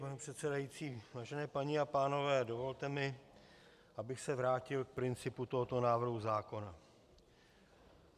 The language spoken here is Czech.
Pane předsedající, vážené paní a pánové, dovolte mi, abych se vrátil k principu tohoto návrhu zákona.